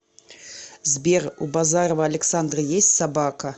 сбер у базарова александра есть собака